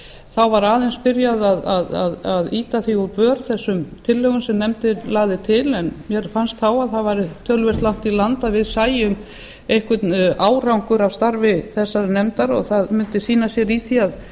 þá var aðeins byrjað að ýta úr vör þessum tillögum sem nefndin lagði til en mér fannst þá að það væri töluvert langt í land að við sæjum einhvern árangur af starfi þessarar nefndar og það mundi sýna sig í því að